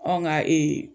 Anw ka